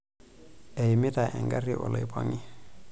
Eimita engari oloipang'i.